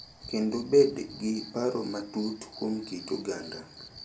Kendo bed gi paro matut kuom kit oganda